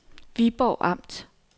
Viborg Amt